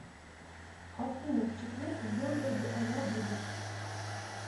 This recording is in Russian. афина в четверг в белгороде она будет